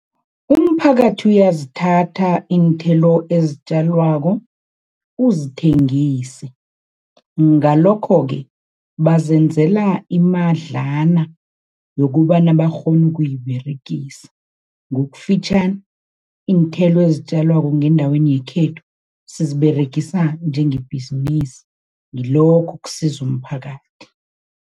Umphakathi uyazithatha iinthelo ezitjalwako uzithengise, ngalokho-ke bazenzela imadlana yokubana bakghone ukuyiberegisa. Ngokufitjhani, iinthelo ezitjalwako ngendaweni yekhethu siziberegisa njengebhizinisi, ngilokho okusiza umphakathi.